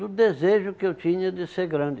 Do desejo que eu tinha de ser grande.